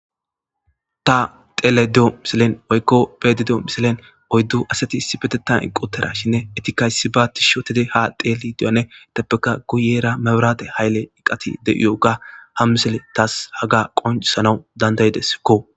Ta xelyida de'yo misilen woyikko be'ayda de'yo missilen oyddu asati issippeteththan eqi utidashinne etikka issiba izetikka tishshi otidi ha xelidi de'yoganne guyera maburatte hayile eqati de'iyogga haga ha missiley tas qoncisans dandayideskko